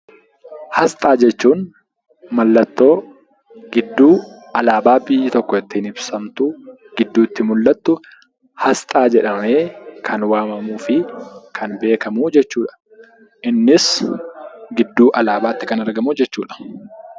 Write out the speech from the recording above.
Asxaa jechuun mallattoo gidduu alaabaa biyyi tokko ittiin ibsamtu gidduutti mul'attu 'Asxaa' jedhamee kan waamamuu fi kan beekamu jechuu dha. Innis gidduu alaabaatti kan argamu jechuu dha.